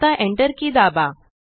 आता Enter की दाबा